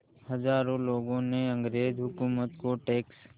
हज़ारों लोगों ने अंग्रेज़ हुकूमत को टैक्स